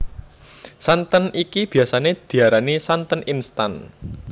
Santen iki biyasané diarani santen instan